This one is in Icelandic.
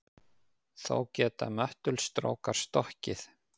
Þó geta möttulstrókar stokkið.